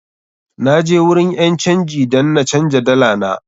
Na je wurin ƴan canji dan na canja dala na.